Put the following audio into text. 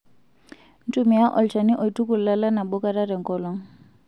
Ntumia olchani oituku lala nabo kata tenkolong'.